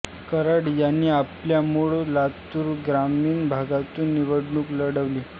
कराड यांनी आपल्या मूळ लातूर ग्रामीण भागातून निवडणूक लढविली